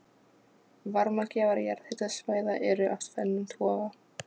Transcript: Varmagjafar jarðhitasvæða eru af tvennum toga.